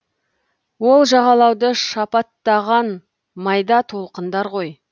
ол жағалауды шапаттаған майда толқындар ғой